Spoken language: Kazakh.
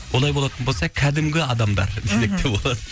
олай болатын болса кәдімгі адамдар мхм десек те болады